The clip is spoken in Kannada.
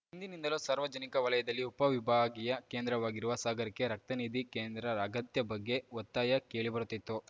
ಹಿಂದಿನಿಂದಲೂ ಸಾರ್ವಜನಿಕ ವಲಯದಲ್ಲಿ ಉಪವಿಭಾಗೀಯ ಕೇಂದ್ರವಾಗಿರುವ ಸಾಗರಕ್ಕೆ ರಕ್ತನಿಧಿ ಕೇಂದ್ರ ಅಗತ್ಯ ಬಗ್ಗೆ ಒತ್ತಾಯ ಕೇಳಿಬರುತ್ತಿತ್ತು